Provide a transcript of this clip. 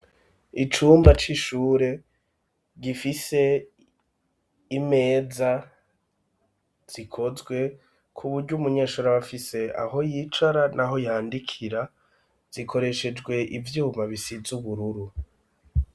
Icumba c'ishure, gifise imeza zikozwe kuburyo umunyeshuri ab'afise aho yicara naho yandikira ,zikoreshejwe ivyuma bisize ubururu.